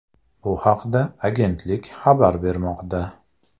Bu haqda agentlik xabar bermoqda .